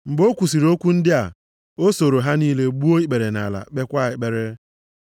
Mgbe o kwusiri okwu ndị a, o soro ha niile gbuo ikpere nʼala kpekwa ekpere.